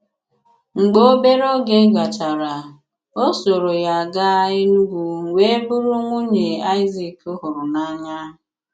Mgbe obere oge gachara, ọ sòrò ya gàa Enùgwū wee bụrụ nwunye Aịzik hụrụ n’anya.